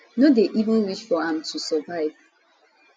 no dey even reach for am to survive